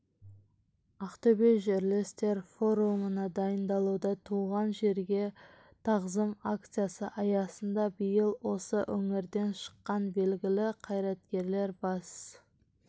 ақтөбе жерлестер форумына дайындалуда туған жерге тағзым акциясы аясында биыл осы өңірден шыққан белгілі қайраткерлер бас